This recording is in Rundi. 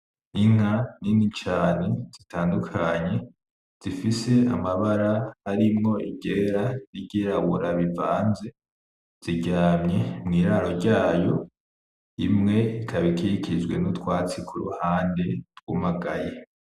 Inka nini cane zitandukanye zifise amabara arimwo i ryera; n'iryirabura bivanze, ziryamye mw'iraro ryayo, imwe ikaba ikikijwe n'utwatsi ku ruhande twumagaye.